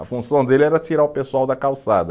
A função dele era tirar o pessoal da calçada.